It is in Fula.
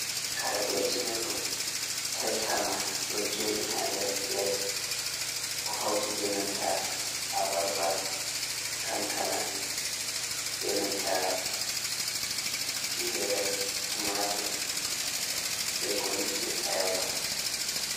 Kare beltinirɗum taitama ɗo jooɗii haa nder pilet o hauti benanta abarba, kankana, benanta tingere, tumatir be ko lutti ayaba.